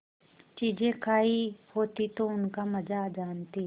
चीजें खायी होती तो उनका मजा जानतीं